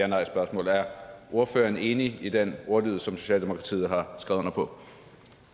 nejspørgsmål er ordføreren enig i den ordlyd som socialdemokratiet har skrevet under på